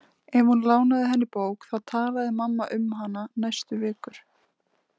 Ef hún lánaði henni bók þá talaði mamma um hana næstu vikur.